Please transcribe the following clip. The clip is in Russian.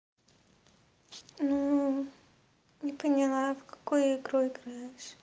ну не поняла в какую игру играешь